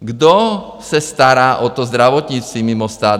Kdo se stará o to zdravotnictví mimo stát?